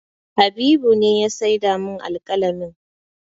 Habibu ne ya saida min alƙalamin